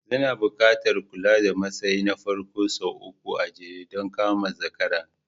Zana buƙatar kula da matsayi na farko sau uku a jere don ka zama zakara